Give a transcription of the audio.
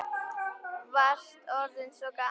Varst orðinn svo gamall.